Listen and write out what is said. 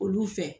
Olu fɛ